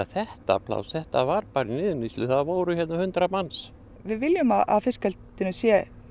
þetta pláss þetta var í niðurníðslu hérna voru hundrað manns við viljum að fiskeldinu sé